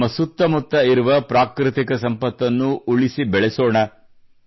ನಮ್ಮ ಸುತ್ತಮುತ್ತ ಇರುವ ಪ್ರಾಕೃತಿಕ ಸಂಪತ್ತನ್ನು ಉಳಿಸಿ ಬೆಳೆಸೋಣ